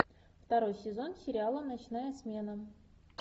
второй сезон сериала ночная смена